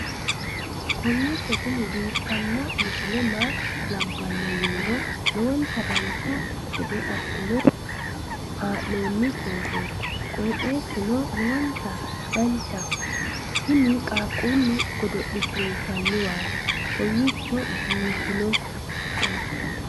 kowiicho tini biiffanno misile maa labbanno yiniro lowonta dancha gede assine haa'noonni foototi qoxeessuno lowonta danachaho. tini qaaquulle godonshshiinshanniwaati kawiichi biifannowi